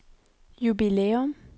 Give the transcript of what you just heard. jubilæum